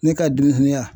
Ne ka dumuni